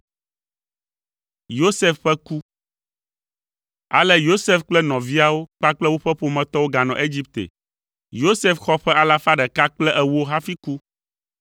Ale Yosef kple nɔviawo kpakple woƒe ƒometɔwo ganɔ Egipte. Yosef xɔ ƒe alafa ɖeka kple ewo hafi ku.